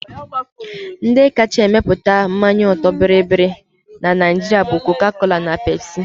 Ndi kacha emepụta mmanya ọtọ bịrịbịrị na Naijiria bụ Coca-Cola na Pepsi